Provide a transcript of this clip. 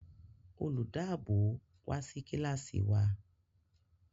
Olùdáàbòò wa sí Kílàsì wa